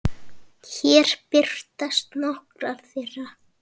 Hér birtast nokkrar þeirra.